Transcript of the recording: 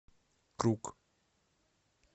круг